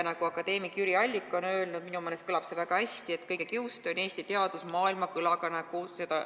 Nagu akadeemik Jüri Allik on öelnud – minu meelest kõlab see väga hästi –, et kõige kiuste on Eesti teadus maailmakõlaga.